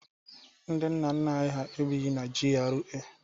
Ndị nna nna ha ebighi na GRA.